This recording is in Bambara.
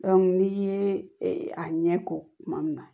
n'i ye a ɲɛ ko kuma min na